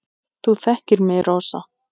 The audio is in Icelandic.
Þú þekkir mig, Rósa.